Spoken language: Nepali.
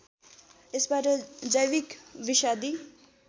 यसबाट जैविक विषादी